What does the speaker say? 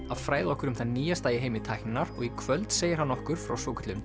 að fræða okkur um það nýjasta í heimi tækninnar og í kvöld segir hann okkur frá svokölluðum